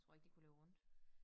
Jeg tror ikke det kunne løbe rundt